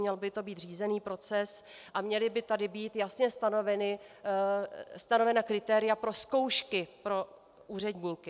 Měl by to být řízený proces a měla by tady být jasně stanovena kritéria pro zkoušky pro úředníky.